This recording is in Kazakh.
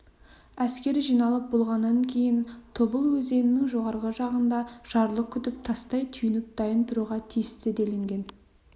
әскер жиналып болғаннан кейін тобыл өзенінің жоғарғы жағында жарлық күтіп тастай түйініп дайын тұруға тиісті делінген